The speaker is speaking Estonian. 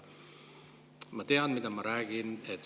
Ma tean, mida ma räägin.